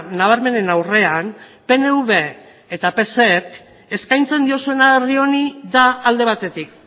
nabarmenen aurrean pnv y psek eskatzen diozuena herri honi da alde batetik